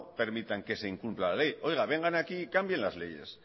permitan que se incumpla la ley vengan aquí y cambien las leyes